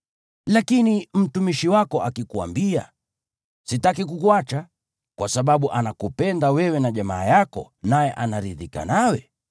Lakini mtumishi wako akikuambia, “Sitaki kukuacha,” kwa sababu anakupenda wewe na jamaa yako naye anaridhika nawe,